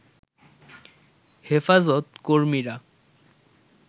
হেফাজত কর্মীরা